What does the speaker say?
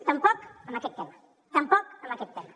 tampoc amb aquest tema tampoc amb aquest tema